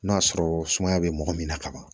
N'a sɔrɔ sumaya be mɔgɔ min na kaban